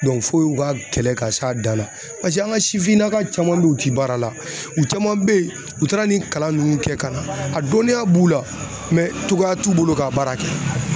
fo u ka kɛlɛ ka s'a dan na paseke an ka sifinnaka caman be ye u ti baara la u caman be ye u taara nin kalan nunnu kɛ ka na a dɔnniya b'u la cogoya t'u bolo ka baara kɛ